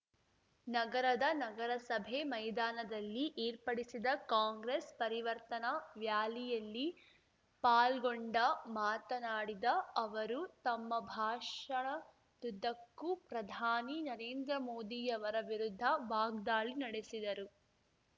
ನಗರದ ನಗರಸಭೆ ಮೈದಾನದಲ್ಲಿ ಏರ್ಪಡಿಸಿದ್ದ ಕಾಂಗ್ರೆಸ್ ಪರಿವರ್ತನಾ ಱ್ಯಾಲಿಯಲ್ಲಿ ಪಾಲ್ಗೊಂಡ ಮಾತನಾಡಿದ ಅವರು ತಮ್ಮ ಭಾಷಣದುದ್ದಕ್ಕೂ ಪ್ರಧಾನಿ ನರೇಂದ್ರ ಮೋದಿಯವರ ವಿರುದ್ಧ ವಾಗ್ದಾಳಿ ನಡೆಸಿದರು